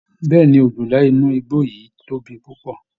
Bẹ́ẹ̀ ni, ọ̀jọ̀la inú igbó yìí tóbi púpọ̀